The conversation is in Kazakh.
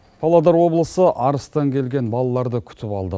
павлодар облысы арыстан келген балаларды күтіп алды